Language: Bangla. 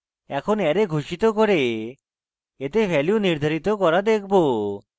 এখন array ঘোষিত করে এতে value নির্ধারিত করা দেখবো